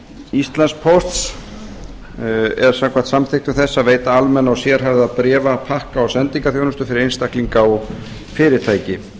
íslandspósts er samkvæmt samþykktum þess að veita almenna og sérhæfða bréfa pakka og sendingaþjónustu fyrir einstaklinga og fyrirtæki